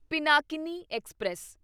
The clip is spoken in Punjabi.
ਪਿਨਾਕਿਨੀ ਐਕਸਪ੍ਰੈਸ